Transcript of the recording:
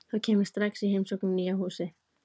Þá kem ég strax í heimsókn í nýja húsið.